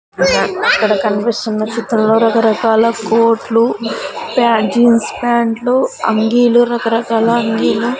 అక్కడ కనిపిస్తున్న చిత్రంలో రకరకాల కోట్లు ప్యా జీన్స్ ప్యాంట్లు అంగీలు రకరకాల అంగీలు --